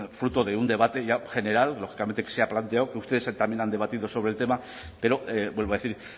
fruto de un debate ya general lógicamente que se ha planteado que ustedes también han debatido sobre el tema pero vuelvo a decir